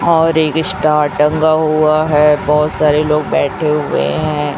और एक स्टार टंगा हुआ है बहोत सारे लोग बैठे हुए हैं।